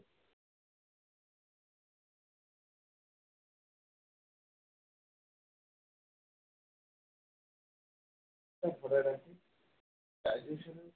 digestion